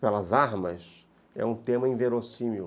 pelas armas, é um tema inverossímil.